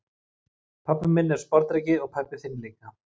Pabbi minn er sporðdreki og pabbi þinn líka.